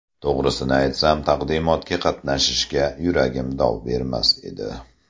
To‘g‘risini aytsam, taqdimotga qatnashishga yuragim dov bermas edi.